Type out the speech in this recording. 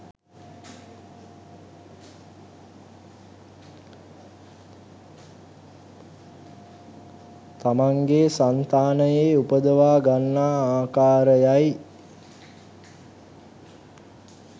තමන්ගේ සන්තානයේ උපදවා ගන්නා ආකාරයයි